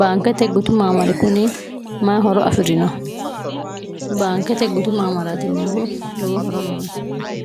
baankete gutu maamari kuni mayi horo afi'rino baankete gutu maamaratineho lowo horo noonsi